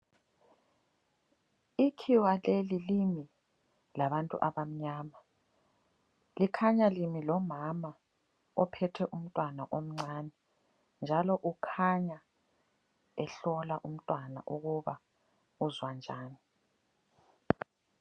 Ikhiwa leli limi labantu abamnyama. Likhanya limi lomama ophethe umntwana omncani. Njalo ukhanya ehlola umntwana ukuba, uzwa njani.